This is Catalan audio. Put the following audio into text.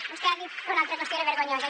vostè ha dit que una altra qüestió era vergonyosa